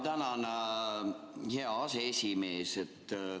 Tänan, hea aseesimees!